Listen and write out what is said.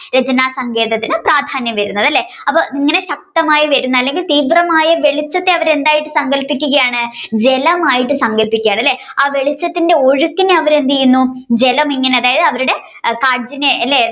രചന സങ്കേതത്തിന് പ്രാധ്യാനം വരുന്നത് അല്ലെ അപ്പൊ ഇങ്ങനെ ശക്തമായി വരുന്ന അല്ലെങ്കിൽ തീവ്രമായ വെളിച്ചത്തെ അവർ എന്തായി സങ്കൽപ്പിക്കുകയാണ് ജലമായി സങ്കല്പിക്കുകയാണ് അല്ലെ ആ വെളിച്ചത്തിന്റെ ഒഴുക്കിനെ അവർ എന്തെയുന്നു ജലമിങ്ങനെ അതായത് അവരുടെ അല്ലെ